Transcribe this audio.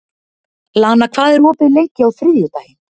Lana, hvað er opið lengi á þriðjudaginn?